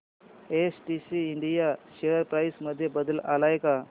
STC India share price मध्ये बदल आलाय का